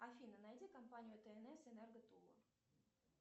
афина найди компанию тнс энерго тула